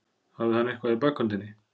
Hafði hann eitthvað í bakhöndinni?